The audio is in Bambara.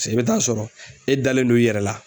i bɛ taa sɔrɔ e dalen do i yɛrɛ la.